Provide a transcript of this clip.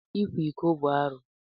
Ịkwa iko bụ arụ.